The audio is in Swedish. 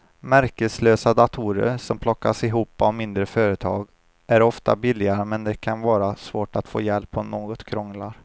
Märkeslösa datorer som plockas ihop av mindre företag är ofta billigare men det kan vara svårt att få hjälp om något krånglar.